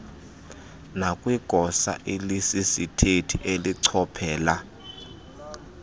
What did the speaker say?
nakwigosa elisisithethi elichophela